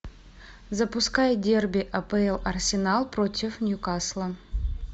запускай дерби апл арсенал против ньюкасла